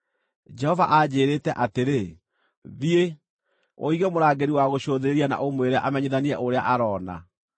Jehova anjĩĩrĩte atĩrĩ: “Thiĩ, ũige mũrangĩri wa gũcũthĩrĩria na ũmwĩre amenyithanie ũrĩa aroona.